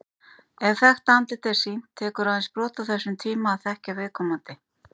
Ef þekkt andlit er sýnt, tekur aðeins brot af þessum tíma að þekkja viðkomandi.